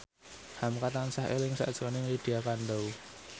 hamka tansah eling sakjroning Lydia Kandou